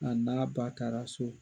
A n'a ba taara so.